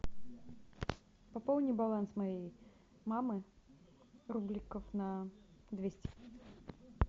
пополни баланс моей мамы рубликов на двести